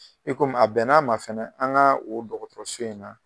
I komi a bɛnn'a ma fɛnɛ an ka o dɔgɔtɔrɔso in na.